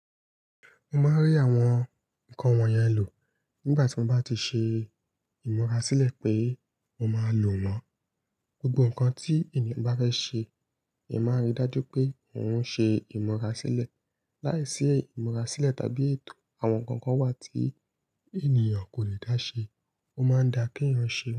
Mo máa n rí àwọn nnkan wọ̀nyẹn lò nígbà tí mo bá ti ṣe ìmúra sílẹ̀ pé mo máa lò wọ́n. Gbogbo nnkan tí ènìyàn bá fẹ́ ṣe, èèyàn máa n rí dájú pé òun ń ṣe ìmúra sílẹ̀. Láìsí ìmúra sílẹ̀ tàbí ètò, àwọn nnkan kan wà tí ènìyàn kò lè dá ṣe, ó máa ń da kí èèyàn ṣe.